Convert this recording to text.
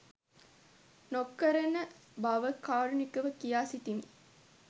නොකරන බව කාරුණිකව කියා සිටිමි.